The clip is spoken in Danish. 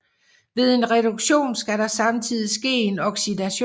Ved en reduktion skal der samtidigt ske en oxidation